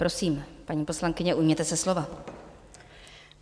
Prosím, paní poslankyně, ujměte se slova.